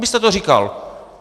Vy jste to říkal.